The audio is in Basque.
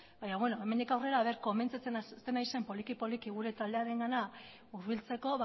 baina beno hemendik aurrera konbentzitzen hasten nahi zen poliki poliki gure taldearengana hurbiltzeko